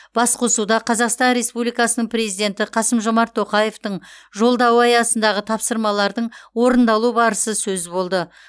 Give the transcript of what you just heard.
басқосуда қазақстан республикасының президенті қасым жомарт тоқаевтың жолдауы аясындағы тапсырмалардың орындалу барысы сөз болды